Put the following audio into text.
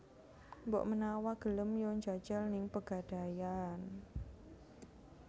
Mbok menawa gelem yo njajal ning Pegadaian